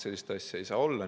Sellist asja ei saa olla.